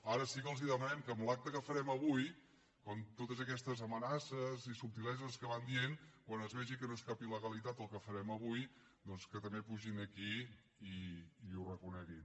ara sí que els demanem que en l’acte que farem avui amb totes aquestes amenaces i subtileses que van dient quan es vegi que no és cap il·legalitat el que farem avui doncs que també pugin aquí i que ho reconeguin